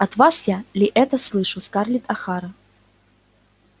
от вас ли я это слышу скарлетт охара